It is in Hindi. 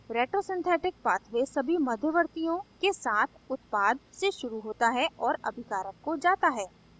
रेट्रोसिन्थेटिक pathway सभी मध्यवर्तीयों के साथ उत्पाद से शुरू होता है और अभिकारक को जाता है